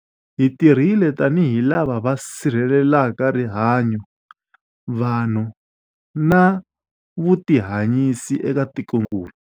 Hi tirhile tanihi lava va si rhelelaka rihanyu, vanhu na vutihanyisi eka tikokulu.